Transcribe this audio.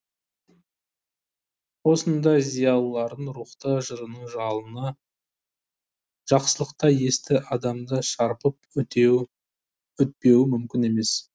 осындай зиялылардың рухты жырының жалыны жақсылықтай есті адамды шарпып өтпеуі мүмкін емес